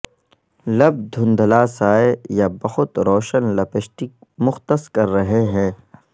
لب دھندلا سائے یا بہت روشن لپسٹک مختص کر رہے ہیں